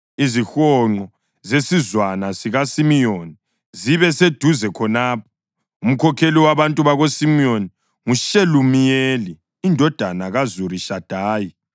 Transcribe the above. Izihonqo zesizwana sikaSimiyoni zibe seduzane khonapho. Umkhokheli wabantu bakoSimiyoni nguShelumiyeli indodana kaZurishadayi.